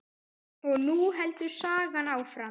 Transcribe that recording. Og nú heldur sagan áfram!